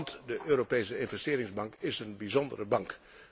Want de Europese Investeringsbank is een bijzondere bank.